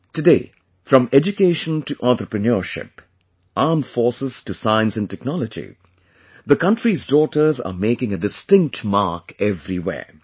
Today, from education to entrepreneurship, armed forces to science and technology, the country's daughters are making a distinct mark everywhere